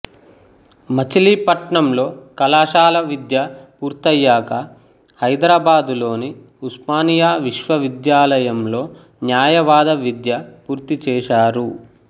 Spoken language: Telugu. మచిలీపట్నంలో కళాశాల విద్య పూర్తయ్యాక హైదరాబాదులోని ఉస్మానియా విశ్వవిద్యాలయంలో న్యాయవాద విద్య పూర్తిచేశారు